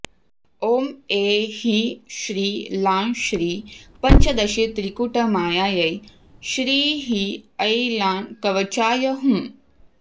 ॐ ऐं ह्रीं श्रीं लां श्रीं पञ्चदशीत्रिकूटमायायै श्रीं ह्रीं ऐं लां कवचाय हुम्